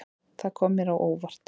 Það kom mér á óvart.